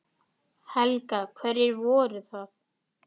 Helga: Hverjir voru það?